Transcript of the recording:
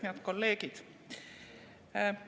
Head kolleegid!